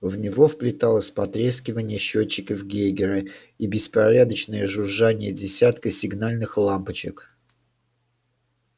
в него вплеталось потрескивание счётчиков гейгера и беспорядочное жужжание десятка сигнальных лампочек